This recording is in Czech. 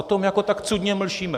O tom jako tak cudně mlčíme.